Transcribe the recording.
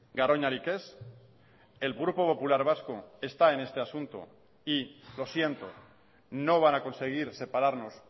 garoñarik ez el grupo popular vasco está en este asunto y lo siento no van a conseguir separarnos